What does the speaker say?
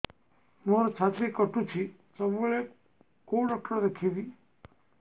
ମୋର ଛାତି କଟୁଛି ସବୁବେଳେ କୋଉ ଡକ୍ଟର ଦେଖେବି